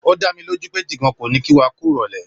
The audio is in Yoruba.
O dámilójú pé Jìgan kò ní kí wa kú ìrọ̀lẹ́.